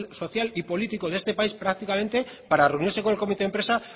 social y político de este país prácticamente para reunirse con el comité de empresa